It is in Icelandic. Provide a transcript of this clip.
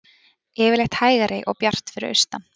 Yfirleitt hægari og bjart fyrir austan